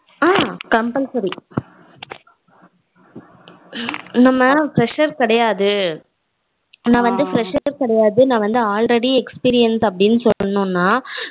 ஆஹ் compulsory நம்ம fresher கெடையாது நா வந்து fresher கெடையாது நா வந்து already experience அப்படினு சொன்னோம்னா